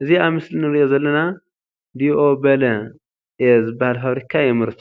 እዚ ኣብ ምስሊ እንሪኦ ዘለና ደኦበለ A ዝባሃል ፋብሪካ የምርቶ።